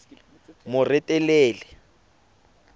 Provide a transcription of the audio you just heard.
moretele